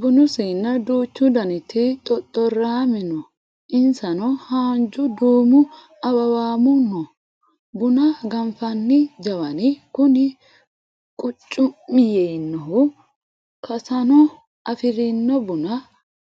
Bunu siina duuchu daniti xoxorame no insano haanja duume awawame no buna ganfanni jawani kuni qucu'mi yiinohu kasano afirino buna